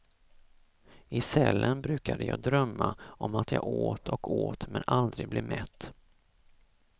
I cellen brukade jag drömma om att jag åt och åt men aldrig blev mätt.